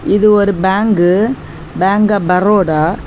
இது ஒரு bank bank of Baroda .